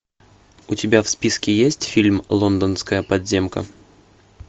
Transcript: у тебя в списке есть фильм лондонская подземка